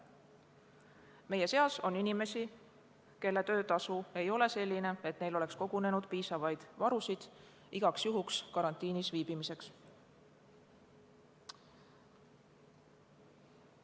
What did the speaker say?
Meie seas on inimesi, kelle töötasu ei ole selline, et neil oleks kogunenud piisavaid varusid igaks juhuks karantiinis viibimiseks.